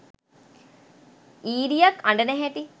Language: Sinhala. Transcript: ඊරියක් අඬන හැටි